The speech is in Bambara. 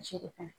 Jiri fana